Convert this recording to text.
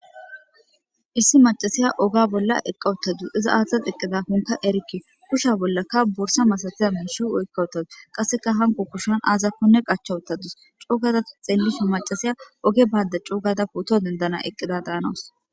Issi macasiya oga bolla eqqawuttadus iza aathta xiqqida kunka erikke kushsha bollaka borsa masatiya miishi oykkawuttadus qasseka hanko kushan aazakonne qachchawuttadus cogada xeellishu macasiya oge bayda coogada pooto dendana eqqida daanawos